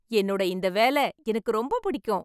என்னோட இந்த வேலை எனக்கு ரொம்ப பிடிக்கும்